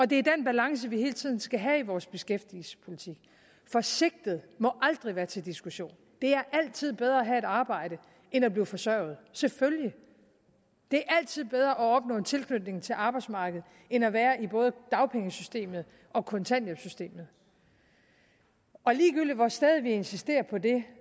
det er den balance vi hele tiden skal have i vores beskæftigelsespolitik for sigtet må aldrig være til diskussion det er altid bedre at have et arbejde end at blive forsørget selvfølgelig det er altid bedre at opnå en tilknytning til arbejdsmarkedet end at være i både dagpengesystemet og kontanthjælpssystemet og ligegyldigt hvor stædigt vi insisterer på det